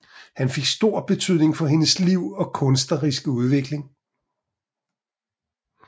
Han fik stor betydning for hendes liv og kunstneriske udvikling